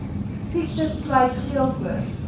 siektes sluit geelkoors